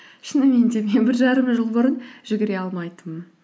шынымен де мен бір жарым жыл бұрын жүгіре алмайтынмын